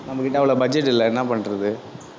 நம்ம கிட்ட அவ்வளவு budget இல்லை என்ன பண்றது